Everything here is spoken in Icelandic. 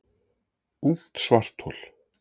Ungt svarthol